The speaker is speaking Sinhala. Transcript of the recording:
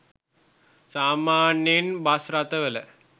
සාමාන්‍යයෙන් බස් රථවල